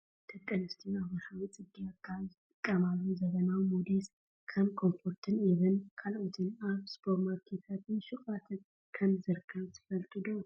ደቂ ኣንስትዮ ኣብ ወርሓዊ ፅግያት ካብ ዝጥቀማሉ ዘመናዊ ሞዴስ ከም ኮንፈርትን ኢቪን ካልኦትን ኣብ ሱፐርማርኬትን ሹቃትን ከምዝርከብ ትፈልጡ ዶ ?